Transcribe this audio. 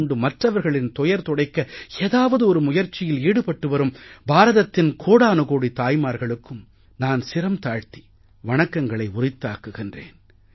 கொண்டு மற்றவர்களின் துயர் துடைக்க ஏதாவதொரு முயற்சியில் ஈடுபட்டு வரும் பாரதத்தின் கோடானுகோடி தாய்மார்களுக்கும் நான் சிரம் தாழ்த்தி வணக்கங்களை உரித்தாக்குகிறேன்